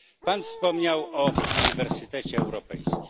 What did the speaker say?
Pan wspomniał o Uniwersytecie Europejskim.